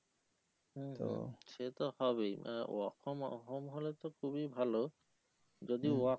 সে তো হবেই work from home হলে তো খুবই ভালো যদি work